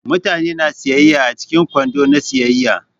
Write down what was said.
Mutane na siyaya a cikin kwando na siyayya.